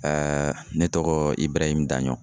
ne tɔgɔ iburahimu Daɲɔn